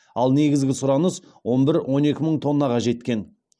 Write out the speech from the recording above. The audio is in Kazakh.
ал негізгі сұраныс он бір он екі мың тоннаға жеткен